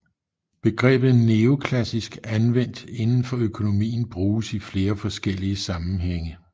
Begrebet neoklassisk anvendt inden for økonomi bruges i flere forskellige sammenhænge